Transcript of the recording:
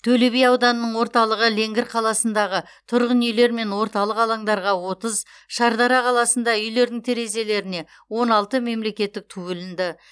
төлеби ауданының орталығы ленгір қаласындағы тұрғын үйлер мен орталық алаңдарға отыз шардара қаласында үйлердің терезелеріне он алты мемлекеттік ту ілінді